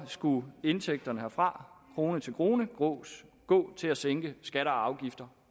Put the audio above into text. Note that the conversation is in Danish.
skulle indtægterne herfra krone til krone gå til at sænke skatter og afgifter